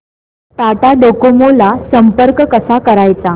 Tata Docomo ला संपर्क कसा करायचा